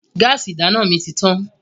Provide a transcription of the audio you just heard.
Gáásì ìdáná mi ti tán.